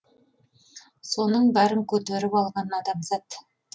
соның бәрін көтеріп алған адамзат